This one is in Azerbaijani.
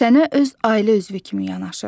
Sənə öz ailə üzvü kimi yanaşır.